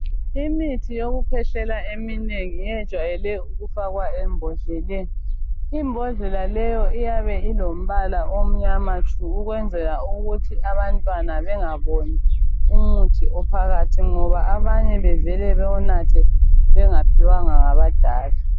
Imithi yokukwehlela eminengi iyejwayele ukufakwa embodleleni imbodlela leyo iyabe ilombala omnyama tshu ukwenzela ukuthi abantwana bengaboni umuthi ophakathi ngoba abanye bevele bewunathe bengaphiwanga ngabadala